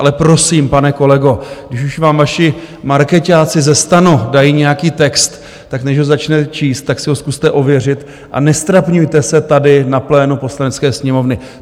Ale prosím, pane kolego, když už vám vaši markeťáci ze STANu dají nějaký text, tak než ho začnete číst, tak si ho zkuste ověřit a neztrapňujte se tady na plénu Poslanecké sněmovny.